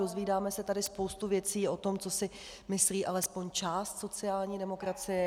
Dozvídáme se tady spoustu věcí o tom, co si myslí alespoň část sociální demokracie.